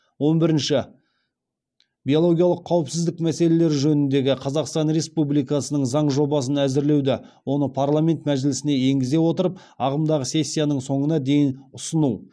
он бірінші биологиялық қауіпсіздік мәселелері жөніндегі қазақстан республикасының заң жобасын әзірлеуді оны парламент мәжілісіне енгізе отырып ағымдағы сессияның соңына дейін ұсыну